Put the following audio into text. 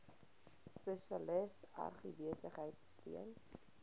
spesialis agribesigheid steun